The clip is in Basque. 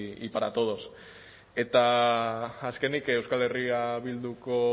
y todos eta azkenik euskal herria bilduko